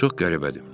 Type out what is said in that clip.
Çox qəribədir.